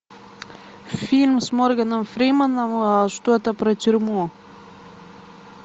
фильм с морганом фриманом что то про тюрьму